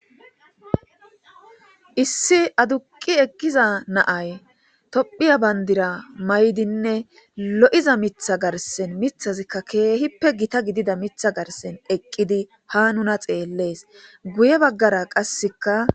Issi aduqi eqkiza naay tophiya bandira maydinne lo'iza mitha garsen mithazikka keehippe gita gidida mitha garsen eqqidi ha nuna xeellees guye baggara qasseka